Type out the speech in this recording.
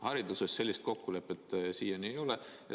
Hariduses sellist kokkulepet siiani ei ole.